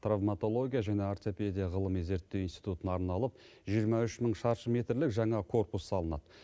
травматология және ортопедия ғылыми зерттеу институтына арналып жиырма үш мың шаршы метрлік жаңа корпус салынады